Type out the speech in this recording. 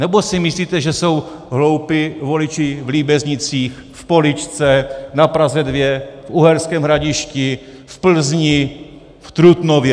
Nebo si myslíte, že jsou hloupí voliči v Líbeznicích, v Poličce, na Praze 2, v Uherském Hradišti, v Plzni, v Trutnově?